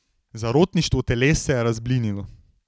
Zarotništvo teles se je razblinilo.